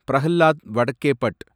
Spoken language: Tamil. பிரஹ்லாத் வடக்கேபட்